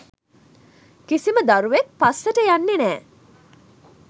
කිසිම දරුවෙක් පස්සට යන්නෙ නෑ